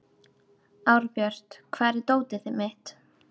Árbjört, hvar er dótið mitt?